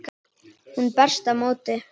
Hún berst á móti.